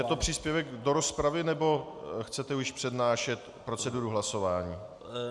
Je to příspěvek do rozpravy, nebo chcete již přednášet proceduru hlasování?